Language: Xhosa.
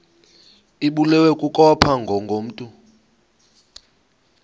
ibulewe kukopha ngokomntu